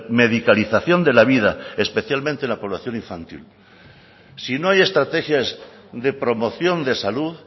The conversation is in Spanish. medicalización de la vida especialmente en la población infantil si no hay estrategias de promoción de salud